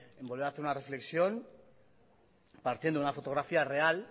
en volver a hacer una reflexión partiendo de una fotografía real